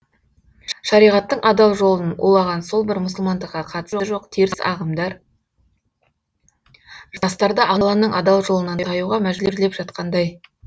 шариғаттың адалжолын улаған сол бір мұсылмандыққа қатысы жоқ теріс ағымдар жастарды алланың адал жолынан таюға мәжбүрлеп жатқандай